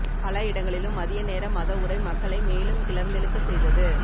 பல இடங்களிலும் மதிய நேர மத உரை மக்களை மேலும் கிளர்ந்தெழுக்க செய்தது